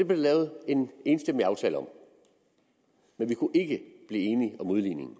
der lavet en enstemmig aftale om men vi kunne ikke blive enige om udligningen